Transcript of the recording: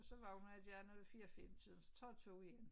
Så vågner der ved 4 5 tiden så tager jeg 2 igen